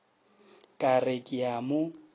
ka re ke a mo